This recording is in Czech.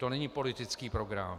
To není politický program.